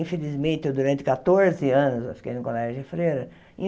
Infelizmente, durante catorze anos eu fiquei num colégio de freira.